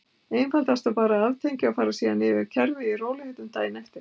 Einfaldast var bara að aftengja og fara síðan yfir kerfið í rólegheitunum daginn eftir.